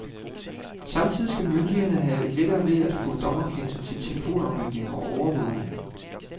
Samtidig skal myndighederne have lettere ved at få dommerkendelser til telefonaflytninger og overvågning.